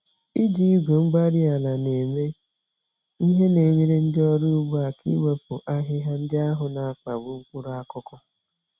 Iji igwe-mgbárí-ala na-eme ihe na-enyere ndị ọrụ ugbo aka iwepụ ahịhịa ndị ahụ n'akpagbu mkpụrụ akụkụ